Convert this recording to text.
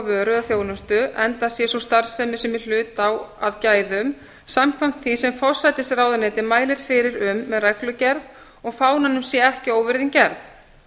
eða þjónustu enda sé sú starfsemi sem í hlut á að gæðum samkvæmt því sem forsætisráðuneyti mælir fyrir um með reglugerð og fánanum sé ekki óvirðing gerð